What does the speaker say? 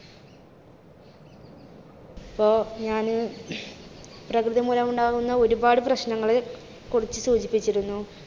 ഇപ്പോ ഞാന് പ്രകൃതി മൂലം ഉണ്ടാകുന്ന ഒരുപാട് പ്രശ്നങ്ങള് കുറിച്ച് സൂചിപ്പിച്ചിരുന്നു.